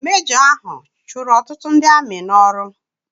Mejọ ahụ chụrụ ọtụtụ ndị amị n'ọrụ.